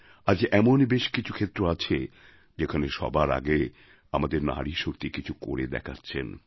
আজ এমন বেশ কিছু ক্ষেত্র আছে যেখানে সবার আগে আমাদের নারীশক্তি কিছু করে দেখাচ্ছেন